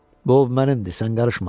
Dov mənimdir, sən qarışma!